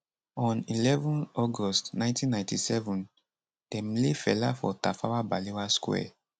on eleven august 1997 dem lay fela for tafawa balewa square